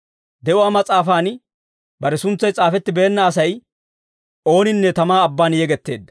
De'uwaa mas'aafan bare suntsay s'aafettibeenna Asay ooninne tamaa abban yegetteedda.